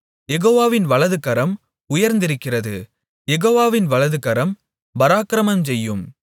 யெகோவாவின் வலதுகரம் உயர்ந்திருக்கிறது யெகோவாவின் வலதுகரம் பராக்கிரமஞ்செய்யும்